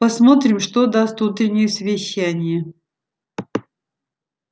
посмотрим что даст утреннее совещание